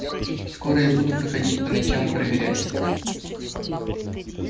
и скоро я буду проходить по ночам и проверять